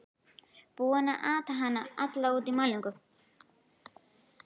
Búinn að ata hana alla út í málningu!